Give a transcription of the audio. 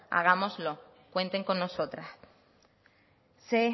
hagámoslo cuenten con nosotras sé